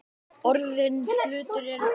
Orðnir hlutir eru orðnir.